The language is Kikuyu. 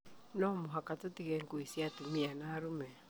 No mũhaka tũtige ngũĩ cia atumia na arume.